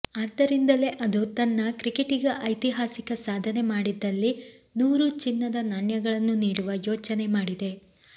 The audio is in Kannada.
ಆದ್ದರಿಂದಲೇ ಅದು ತನ್ನ ಕ್ರಿಕೆಟಿಗ ಐತಿಹಾಸಿಕ ಸಾಧನೆ ಮಾಡಿದಲ್ಲಿ ನೂರು ಚಿನ್ನದ ನಾಣ್ಯಗಳನ್ನು ನೀಡುವ ಯೋಚನೆ ಮಾಡಿದೆ